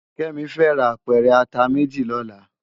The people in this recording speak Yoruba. Kemi fè rá ápèrè àtá méjí lòlá